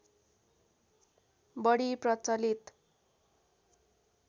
बढी प्रचलित